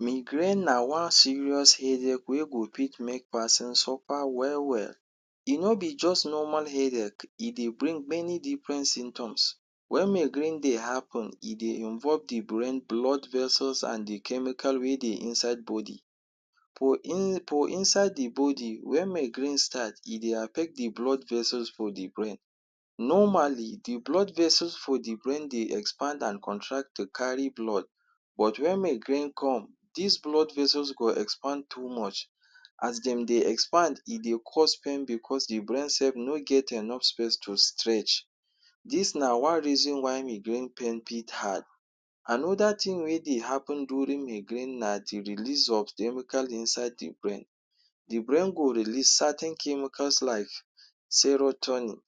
Migraine na one serious headache wey go fit make pesin suffer well well. E no be just normal headache. E dey brings many different symptoms. When migraine dey happen, e dey involve the brain, blood vessels and the chemical wey dey the inside body. For for inside the body, when migraine start, e dey affect the blood vessels for the brain. Normally, the blood vessels for the brain dey expand and contract to carry blood. But when migraine comes, des blood vessels go expand too much. As dem dey expand, e dey cause pain because the brain self no get enough space to stretch. Dis na one reason why migraine pain pit hard. Another thing wey dey happen during migraine na the release of chemical inside the brain. The brain go release certain chemicals like serotonin.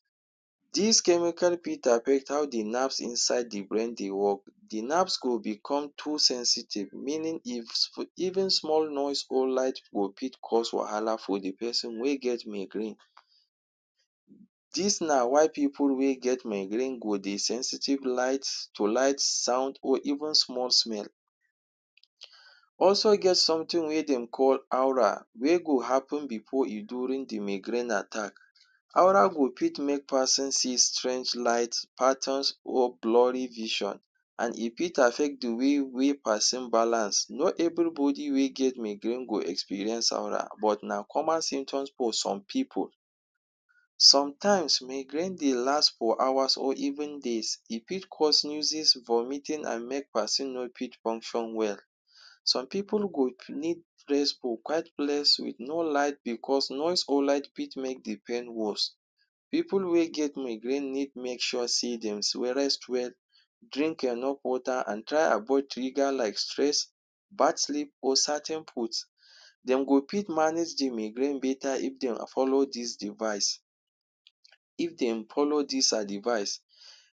Des chemical fit affect how the nerves inside the brain dey work. The nerves go become too sensitive. Meaning if, even small noise or light go fit cause wahala for the pesin wey get migraine. Dis na why pipu wey get migraine go dey sensitive light to light, sound, or even small smell. Also get something wey dem called aura wey go happen before e during the migraine attack. Aura go fit make pesin see strange light, patterns, or blurry vision. And e fit affect the way wey pesin balance. Not everybody wey get migraine go experience aura. But na common symptoms for some pipu. Sometimes, migraine dey last for hours or even days. E fit cause, vomiting, and make person no fit function well. Some pipu go need rest for quiet place with no light because noise or light fit make the pain worse. Pipu wey get migraine need make sure sey dems rest well, drink enough water, and try avoid triggers like stress, bad sleep, or certain foods. Dem go pit manage the migraine better if they follow dis device. If dem follow dis adivice.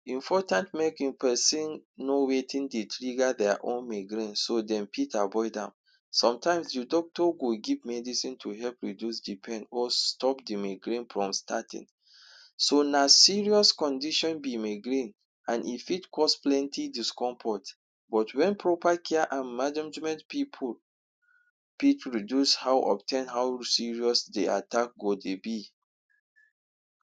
Important make e pesin no wetin dey trigger their own migraine so dem fit avoid am. Sometimes, the doctor go give medicine to help reduce the pain or stop the migraine from starting. So, na serious condition be migraine and e fit cause plenty discomfort. But when proper care and management pipu fit reduce how of ten, how serious the attack go dey be.